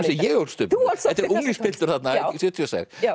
sem ég ólst upp við þetta er unglingspiltur þarna sjötíu og sex